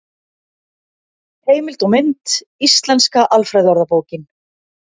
Heimild og mynd: Íslenska alfræðiorðabókin.